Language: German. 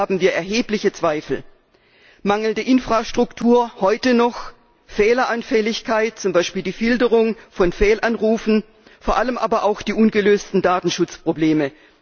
Daran haben wir erhebliche Zweifel mangelnde Infrastruktur heute noch Fehleranfälligkeit zum Beispiel die Filterung von Fehlanrufen vor allem aber auch die ungelösten Datenschutzprobleme.